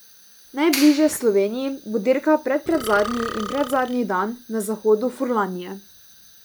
Najbližje Sloveniji bo dirka predpredzadnji in predzadnji dan na zahodu Furlanije.